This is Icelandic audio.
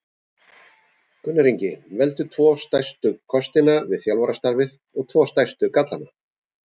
Gunnar Ingi Veldu tvo stærstu kostina við þjálfarastarfið og tvo stærstu gallana?